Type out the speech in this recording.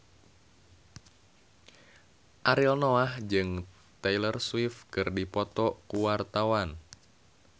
Ariel Noah jeung Taylor Swift keur dipoto ku wartawan